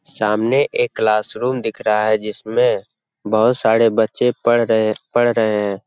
सामने एक class room दिख रहा है जिसमें बहुत सारे बच्चे पढ़ रहे पढ़ रहे हैं।